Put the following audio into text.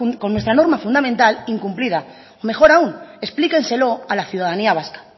con nuestra norma fundamental incumplida mejor aún explíquenselo a la ciudadanía vasca